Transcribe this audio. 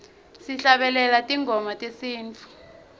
sihlabelele tingoma tesintfu